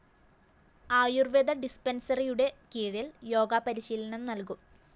ആയുര്‍വേദ ഡിസ്‌പെന്‍സറിയുടെ കീഴില്‍ യോഗ പരിശീലനം നല്‍കും